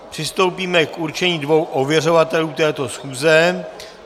Přistoupíme k určení dvou ověřovatelů této schůze.